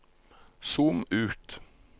zoom ut